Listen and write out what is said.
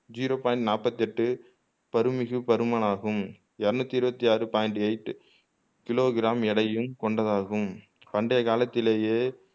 zero point நாப்பத்தெட்டு பருமிகு பருமனாகும் எரனூத்தி இருவத்தாறு பாய்ன்ட் எய்ட் கிலோ கிராம் எடையையும் கொண்டதாகும் பண்டைய காலத்திலேயே